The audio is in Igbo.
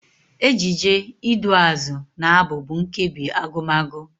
Ejije, iduuazụ na Abụ bụ nkebi Agụmagụ.